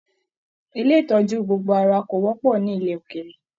Ilé ìtọjú gbogbo ara ko wọpọ nílẹ̀ ókéré.